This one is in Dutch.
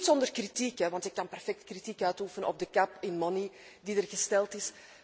Niet zonder kritiek, want ik kan perfect kritiek uitoefenen op de cap on money die er gesteld is.